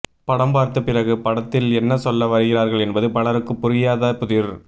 படம் பார்த்த பிறகு படத்தில் என்ன சொல்ல வருகிறார்கள் என்பது பலருக்கு புரியாத புதிர்